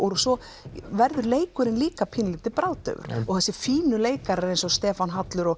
svo verður leikurinn líka pínulítið bragðdaufur og þessi fínu leikarar eins og Stefán Hallur og